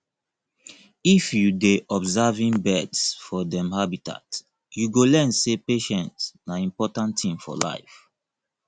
if you dey observing birds for dem habitat you go learn sey patience na important thing for life